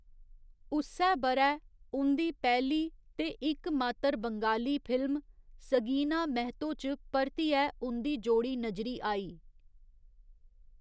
उस्सै ब'रै, उं'दी पैह्‌ली ते इकमात्तर बंगाली फिल्म 'सगीना महतो' च परतियै उं'दी जोड़ी नजरी आई।